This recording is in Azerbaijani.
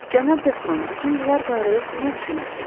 Cənab Dekron, bütün bunlar barədə siz nə düşünürsünüz?